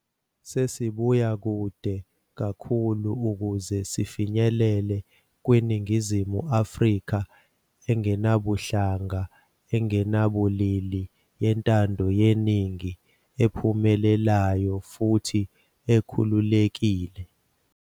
Sesibuya kude kakhulu ukuze sifinyelele kwiNingizimu Afrika engenabuhlanga, engenabulili, yentando yeningi, ephumelelayo futhi ekhululekile.